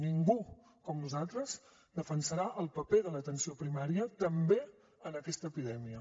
ningú com nosaltres defensarà el paper de l’atenció primària també en aquesta epidèmia